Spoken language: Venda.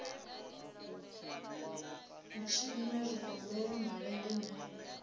u tshinwa zwigombela malende na